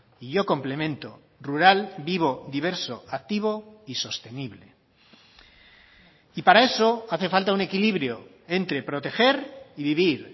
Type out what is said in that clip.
y yo complemento rural vivo diverso activo y sostenible y para eso hace falta un equilibrio entre proteger y vivir